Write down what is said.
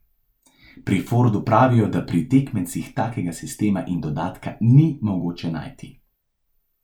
Pri Fordu pravijo, da pri tekmecih takega sistema in dodatka ni mogoče najti.